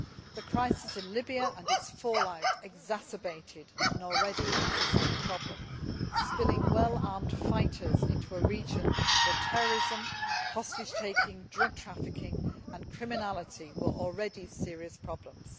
The crisis in Libya and its fallout exacerbated an already existing problem, causing well armed fighters to spill out into a region where terrorism, hostage taking, drug trafficking and criminality were already serious problems.